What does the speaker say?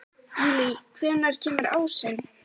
Júlí, hvenær kemur ásinn?